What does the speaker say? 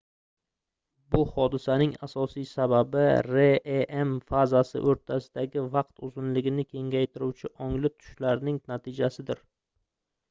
bu hodisaning asosiy sababi rem fazasi oʻrtasidagi vaqt uzunligini kengaytiruvchi ongli tushlarning natijasidir